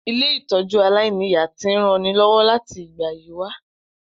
Ilé-ìtójú aláìniya ti n ranilọ́wọ́ láti ìgbà yi wa